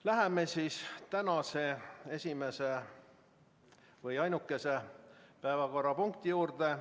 Läheme tänase esimese või õigemini ainukese päevakorrapunkti juurde.